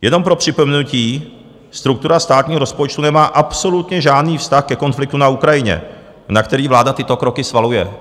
Jenom pro připomenutí - struktura státního rozpočtu nemá absolutně žádný vztah ke konfliktu na Ukrajině, na který vláda tyto kroky svaluje.